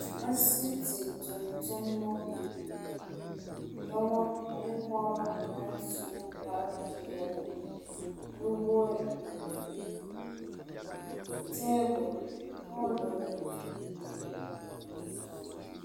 Asiiti toŋtommɔ la. Dɔbɔ ane pɔgbɔ la su kparepeɛlnuwogre. Tabol ane poolo meŋ bebe la.